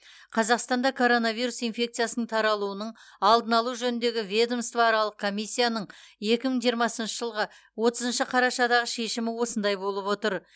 қазақстанда коронавирус инфекциясының таралуының алдын алу жөніндегі ведомствоаралық комиссияның екі мың жиырмасыншы жылғы отызыншы қарашадағы шешімі осындай болып отыр